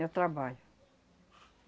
É o trabalho.